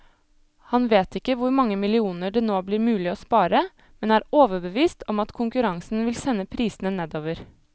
Han vet ikke hvor mange millioner det nå blir mulig å spare, men er overbevist om at konkurransen vil sende prisene nedover.